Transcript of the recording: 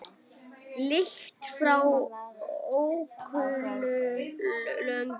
Lykt frá ókunnum löndum.